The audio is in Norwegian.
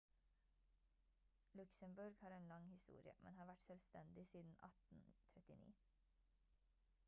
luxembourg har en lang historie men har vært selvstendig siden 1839